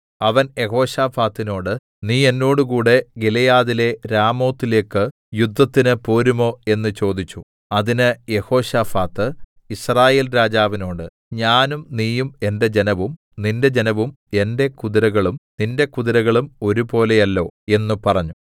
അവൻ യെഹോശാഫാത്തിനോട് നീ എന്നോടുകൂടെ ഗിലെയാദിലെ രാമോത്തിലേക്ക് യുദ്ധത്തിന് പോരുമോ എന്ന് ചോദിച്ചു അതിന് യെഹോശാഫാത്ത് യിസ്രായേൽ രാജാവിനോട് ഞാനും നീയും എന്റെ ജനവും നിന്റെ ജനവും എന്റെ കുതിരകളും നിന്റെ കുതിരകളും ഒരുപോലെയല്ലോ എന്ന് പറഞ്ഞു